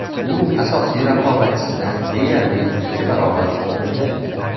U asosiy raqobatchisidan deyarli ikki barobar oldinda.